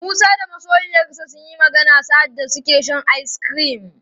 Musa da masoyiyarsa sunyi magana sa'adda suke shan ice cream.